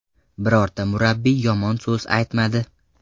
Birorta murabbiy yomon so‘z aytmadi.